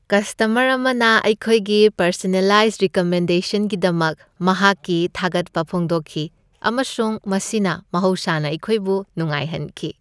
Customer ꯑꯃꯅ ꯑꯩꯈꯣꯏꯒꯤ personalized ꯔꯤꯀꯃꯦꯟꯗꯦꯁꯟꯒꯤꯗꯃꯛ ꯃꯍꯥꯛꯀꯤ ꯊꯥꯒꯠꯄ ꯐꯣꯡꯗꯣꯛꯈꯤ ꯑꯃꯁꯨꯡ ꯃꯁꯤꯅ ꯃꯍꯧꯁꯥꯅ ꯑꯩꯈꯣꯏꯕꯨ ꯅꯨꯡꯉꯥꯏꯍꯟꯈꯤ꯫